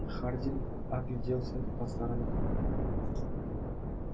хардин огляделся по сторонам